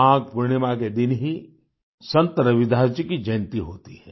माघ पूर्णिमा के दिन ही संत रविदास जी की जयंती होती है